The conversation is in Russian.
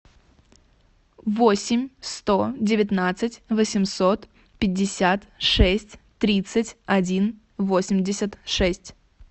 восемь сто девятнадцать восемьсот пятьдесят шесть тридцать один восемьдесят шесть